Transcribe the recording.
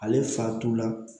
Ale fatula